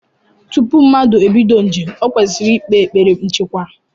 Tupu mmadu ebido njem, ọ kwesịrị ikpe ekpere nchekwa.